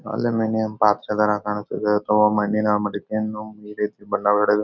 Aluminium ಪಾತ್ರೆ ಥರ ಕಣ್ತದೆ ತೊಗೊ ಮಣ್ಣಿನ ಮಡಿಕೆ ಬಣ್ಣ ಹೊಡೆದು.